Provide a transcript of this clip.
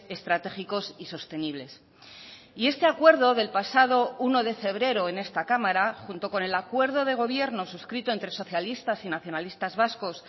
estratégicos y sostenibles y este acuerdo del pasado uno de febrero en esta cámara junto con el acuerdo de gobierno suscrito entre socialistas y nacionalistas vascos